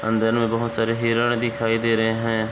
अन्दन में बहुत सारे हिरण दिखाई दे रहे हैं।